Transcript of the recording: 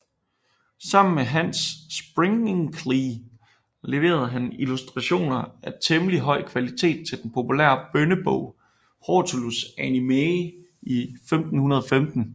Sammen med Hans Springinklee leverede han illustrationer af temmelig høj kvalitet til den populære bønnebog Hortulus Animae i 1515